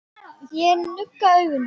Ég nugga augun.